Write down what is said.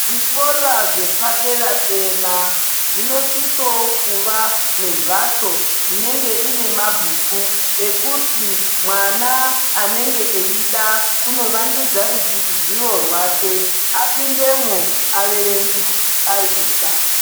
Zvikora zvepadera-dera zvinosisowo kuva nemphatso inenge ine mabhuku ekuti mwana anenge eida kunovandudza rudzi zivo rwake apindemwo averenge ari ega.